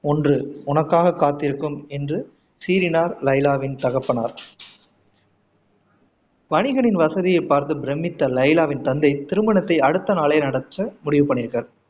ஒன்று உனக்காக காத்திருக்கும் என்று சீறினார் லைலாவின் தகப்பனார் வணிகனின் வசதியை பார்த்து பிரம்மித்த லைலாவின் தந்தை திருமணத்தை அடுத்த நாளே நடத்த முடிவு பண்ணியிருக்கார்